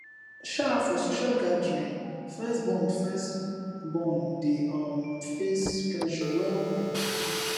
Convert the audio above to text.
um for social gathering first born first born dey um face pressure well well